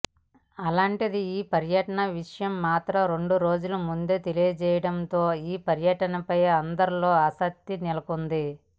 అలాంటిది ఈ పర్యటన విషయం మాత్రం రెండు రోజుల ముందే తెలియజేయడం తో ఈ పర్యటనపై అందరిలో ఆసక్తి నెలకొంది